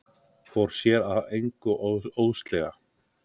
Fór sér að engu óðslega.